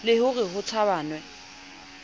le ho re ho tshabanwe